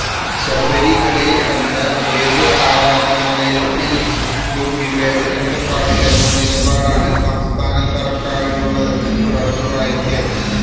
ശബരിമലയില് അല്ല ഏത് ആരാധനാലയത്തിലും വിവേചനങ്ങള് പാടില്ലെന്ന നിലപാടാണ് സംസ്ഥാന സര്ക്കാരിനുള്ളതെന്ന് തുടർന്ന് വായിക്കാം